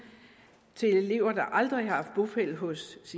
til elever der aldrig har haft bopæl hos